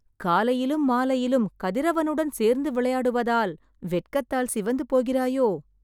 காலையிலும் மாலையிலும் கதிரவனுடன் சேர்ந்து விளையாடுவதால், வெட்கத்தால் சிவந்து போகிறாயோ...